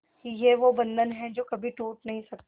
ये वो बंधन है जो कभी टूट नही सकता